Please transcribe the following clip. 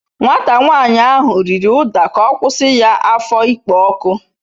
Nwata nyanyi ahu riri uda k'okwusi ya afo ikpo oku